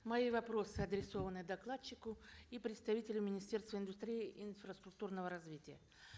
мои вопросы адресованы докладчику и представителю министерства индустрии инфраструктурного развития